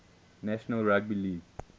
national rugby league